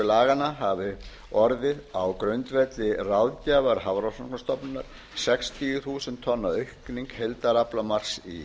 laganna hafi orðið á grundvelli ráðgjafar hafrannsóknastofnunar sextíu þúsund tonna aukning heildaraflamarks í